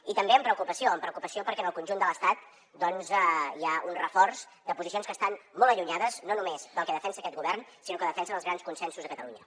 i també amb preocupació amb preocupació perquè en el conjunt de l’estat doncs hi ha un reforç de posicions que estan molt allunyades no només del que defensa aquest govern sinó del que defensen els grans consensos a catalunya